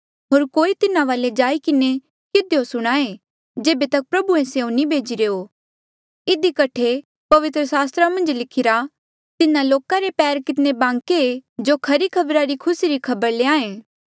होर कोई तिन्हा वाले जाई किन्हें किधियो सुणाये जेबे तक कि प्रभुऐ स्यों नी भेजिरे हो होर इधी कठे पवित्र सास्त्रा मन्झ लिखिरा तिन्हा लोका रे पैर कितने बांके ऐें जो खरी खबरा री खुसी री खबर ल्याए